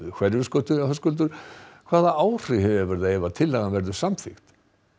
Hverfisgötu Höskuldur hvaða áhrif hefur það ef tillagan verður samþykkt